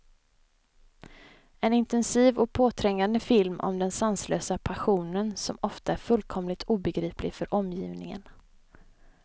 En intensiv och påträngande film om den sanslösa passionen, som ofta är fullkomligt obegriplig för omgivningen.